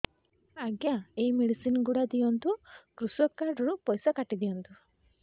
ଆଜ୍ଞା ଏ ମେଡିସିନ ଗୁଡା ଦିଅନ୍ତୁ କୃଷକ କାର୍ଡ ରୁ ପଇସା କାଟିଦିଅନ୍ତୁ